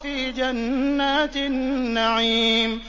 فِي جَنَّاتِ النَّعِيمِ